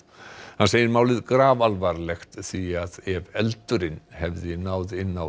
hann segir málið grafalvarlegt því ef eldurinn hefði náð inn á